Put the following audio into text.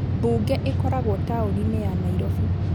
Mbunge ĩkoragwo tauninĩ ya Nairobi